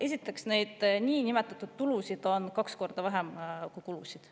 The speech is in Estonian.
" Esiteks, neid niinimetatud tulusid on kaks korda vähem kui kulusid.